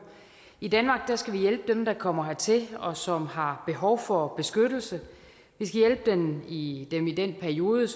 i danmark skal vi hjælpe dem der kommer hertil og som har behov for beskyttelse vi skal hjælpe dem i den periode